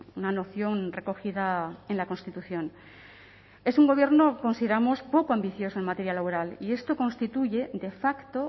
una noción recogida en la constitución es un gobierno consideramos poco ambicioso en materia laboral y esto constituye de facto